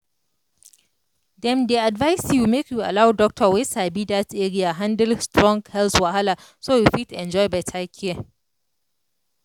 dem dey advise you make you allow doctor wey sabi that area handle strong health wahala so you fit enjoy better care.